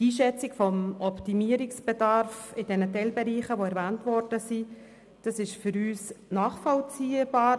Die Einschätzung des Optimierungsbedarfs bei den erwähnten Teilbereichen ist für uns nachvollziehbar.